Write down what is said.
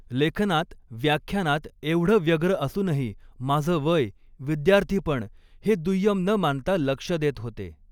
लेखनांत, व्याख्यानांत एवढ व्यग्र असूनही माझ वय विद्यार्थीपण हे दुय्यम न मानता लक्ष देत होते.